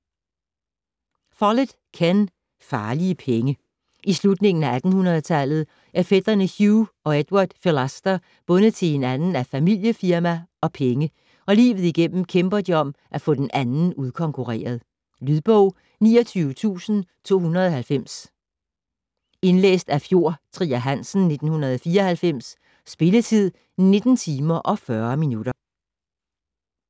Follett, Ken: Farlige penge I slutningen af 1800-tallet er fætrene Hugh og Edward Philaster bundet til hinanden af familiefirma og penge, og livet igennem kæmper de om at få den anden udkonkurreret. Lydbog 29290 Indlæst af Fjord Trier Hansen, 1994. Spilletid: 19 timer, 40 minutter.